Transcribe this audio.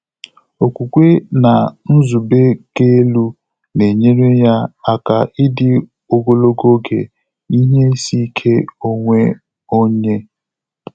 Ókwúkwé nà nzùbé kà èlú nà-ényéré yá áká ídí ògòlògò ògé ìhè ísí íké ónwé ọ́nyé.